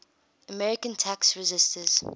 american tax resisters